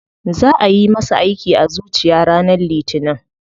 Za ayi masa aiki a zuciya ranar litinin.